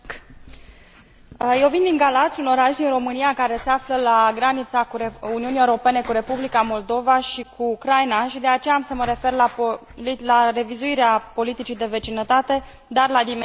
Eu vin din Galați, un oraș din România care se află la granița Uniunii Europene cu Republica Moldova și cu Ucraina și, de aceea, am să mă refer la revizuirea politicii de vecinătate, dar la dimensiunea estică.